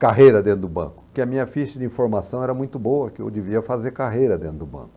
carreira dentro do banco, porque a minha ficha de informação era muito boa, que eu devia fazer carreira dentro do banco.